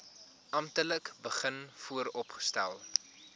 amptelik begin vooropstel